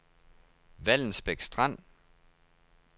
Vallensbæk Strand